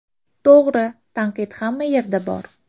To‘g‘ri, tanqid hamma yerda bor.